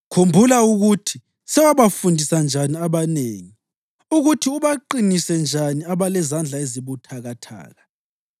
Khumbula ukuthi sewabafundisa njani abanengi, ukuthi ubaqinise njani abalezandla ezibuthakathaka.